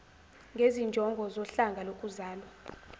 ngezinjongo zohlanga lokuzalwa